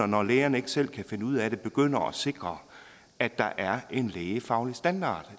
når lægerne ikke selv kan finde ud af det at vi begynder at sikre at der er en lægefaglig standard